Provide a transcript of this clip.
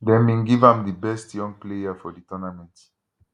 dem bin give am di best young player for di tournament